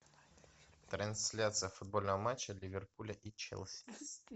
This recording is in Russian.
трансляция футбольного матча ливерпуля и челси